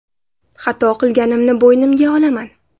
Xato qilganimni bo‘ynimga olaman.